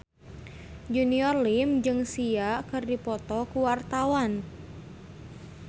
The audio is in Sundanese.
Junior Liem jeung Sia keur dipoto ku wartawan